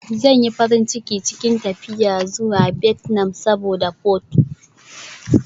Zan yi farin cikin tafiya zuwa Vietnam saboda pho.